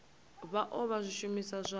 vha o vha zwishumiswa zwa